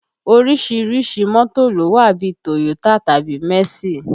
Orísìírísìí mọ́tò ló wà bí i Toyo tàbí mẹ̀sí